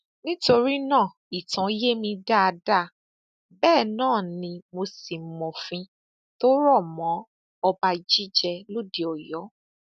nítorí náà ìtàn yé mi dáadáa bẹẹ náà ni mo sì mọfìn tó rọ mọ ọrọ ọba jíjẹ lóde ọyọ